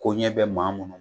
Ko ɲɛ bɛ maa minnu